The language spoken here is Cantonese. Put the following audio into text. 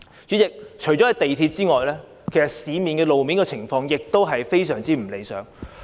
主席，除了港鐵之外，路面的情況亦非常不理想。